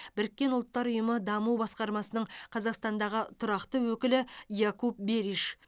біріккен ұлттар ұйымы даму басқармасының қазақстандағы тұрақты өкілі якуп бериш